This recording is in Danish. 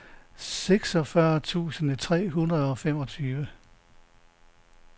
seksogfyrre tusind tre hundrede og femogtyve